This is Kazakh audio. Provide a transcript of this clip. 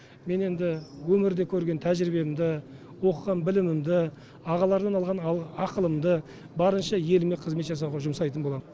мен енді өмірде көрген тәжірибемді оқыған білімімді ағалардан алған ақылымды барынша елге қызмет жасауға жұмсайтын боламын